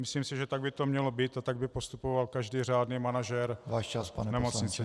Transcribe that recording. Myslím si, že tak by to mělo být a tak by postupoval každý řádný manažer nemocnice.